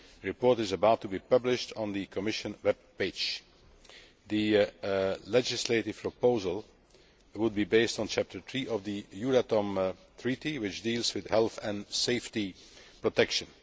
The report is about to be published on the Commission webpage. The legislative proposal would be based on Chapter 3 of the Euratom Treaty which deals with health and safety protection.